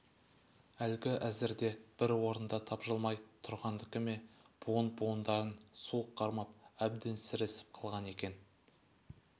әлгі әзірде бір орында тапжылмай тұрғандікі ме буын-буындарын суық қармап әбден сіресіп қалған екен